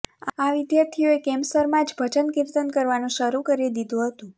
આ વિદ્યાર્થીઓએ કેમ્પસરમાં જ ભજન કિર્તન કરવાનું શરૂ કરી દીધુ હતું